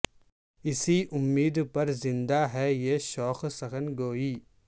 اسی امید پر زندہ ہے یہ شوق سخن گوئی